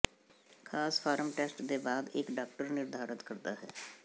ਖਾਸ form test ਦੇ ਬਾਅਦ ਇੱਕ ਡਾਕਟਰ ਨਿਰਧਾਰਤ ਕਰਦਾ ਹੈ